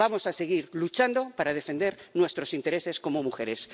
Vamos a seguir luchando para defender nuestros intereses como mujeres.